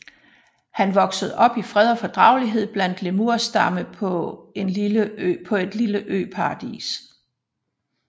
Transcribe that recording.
Han vokser op i fred og fordragelighed blandt en lemurstamme på et lille øparadis